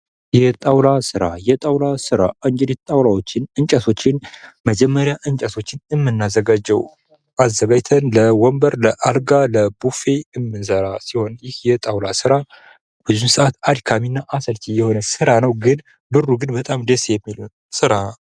የጣውላ ስራ፡- የጣውላ ስራ እንግዲህ እንጨቶችን፥ ጣውላዎችን መጀመሪያ እንጨቶችን እምናዘጋጀው ፤ አዘጋጅተን ለ ወንበር፥ ለአልጋ፥ ለቡፌ የምንሰራ ሲሆን ይህ የጣውላ ስራ በብዛት አድካሚ እና አሰልች የሆነ ስራ ነው። ነገርግን በጣም ደስ የሚል ብር ያለው ስራ ነው።